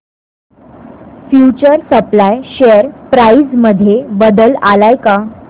future supply share price मध्ये बदल आलाय का